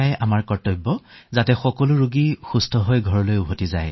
আৰু আমাৰ কৰ্তব্য এয়াই যে ৰোগী সুস্থ হৈ যাতে ঘৰলৈ যাব পাৰে